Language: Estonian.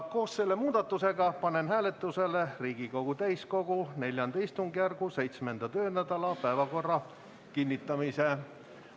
Koos selle muudatusega panen hääletusele Riigikogu täiskogu IV istungjärgu 7. töönädala päevakorra kinnitamise.